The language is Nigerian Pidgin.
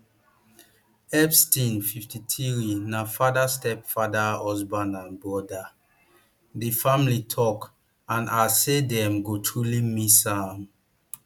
epstein fifty-three na father stepfather husband and brother di family tok and as say dem go truly miss am